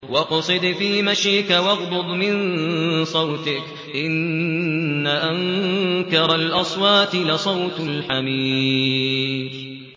وَاقْصِدْ فِي مَشْيِكَ وَاغْضُضْ مِن صَوْتِكَ ۚ إِنَّ أَنكَرَ الْأَصْوَاتِ لَصَوْتُ الْحَمِيرِ